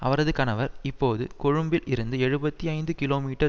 அவரது கனவர் இப்போது கொழும்பில் இருந்து எழுபத்தி ஐந்து கிலோமீட்டர்